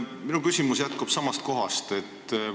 Minu küsimus jätkub samast kohast.